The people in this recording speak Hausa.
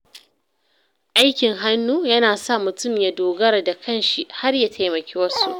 Aikin hannu yana sa mutum ya dogara da kan shi, har ya taimaki wasu.